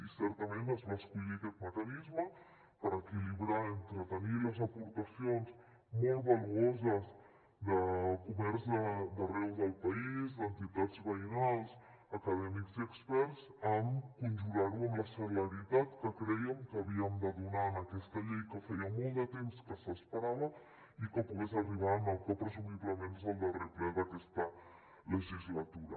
i certament es va escollir aquest mecanisme per equilibrar entre tenir les aportacions molt valuoses de comerç d’arreu del país d’entitats veïnals acadèmics i experts amb conjurar ho amb la celeritat que crèiem que havíem de donar en aquesta llei que feia molt de temps que s’esperava perquè pogués arribar en el que presumiblement és el darrer ple d’aquesta legislatura